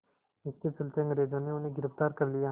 इसके चलते अंग्रेज़ों ने उन्हें गिरफ़्तार कर लिया